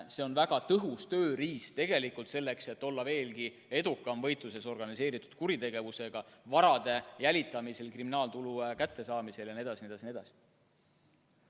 See on väga tõhus tööriist selleks, et olla veelgi edukam võitluses organiseeritud kuritegevusega, vara jälitamisel, kriminaaltulu kättesaamisel jne.